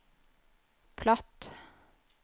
platt